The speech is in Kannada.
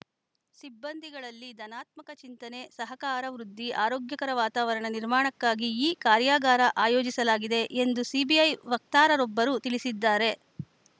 ಸಿಬ್ಬಂದಿಗಳಲ್ಲಿ ಧನಾತ್ಮಕ ಚಿಂತನೆ ಸಹಕಾರ ವೃದ್ಧಿ ಆರೋಗ್ಯಕರ ವಾತಾವರಣ ನಿರ್ಮಾಣಕ್ಕಾಗಿ ಈ ಕಾರ್ಯಾಗಾರ ಆಯೋಜಿಸಲಾಗಿದೆ ಎಂದು ಸಿಬಿಐ ವಕ್ತಾರರೊಬ್ಬರು ತಿಳಿಸಿದ್ದಾರೆ